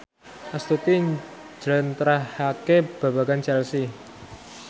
Astuti njlentrehake babagan Chelsea